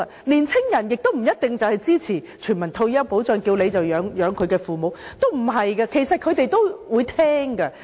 年輕人亦不一定支持全民退休保障，因為他們要承擔供養父母及其他長者的責任。